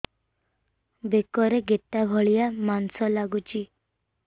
ବେକରେ ଗେଟା ଭଳିଆ ମାଂସ ଲାଗୁଚି